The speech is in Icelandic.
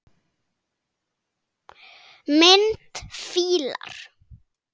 Mynd: Fílar